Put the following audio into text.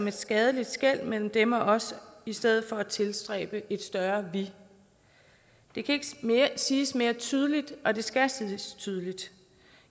et skadeligt skel imellem dem og os i stedet for at tilstræbe et større vi det kan ikke siges mere tydeligt og det skal siges tydeligt